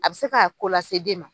A bi se ka ko lase den ma.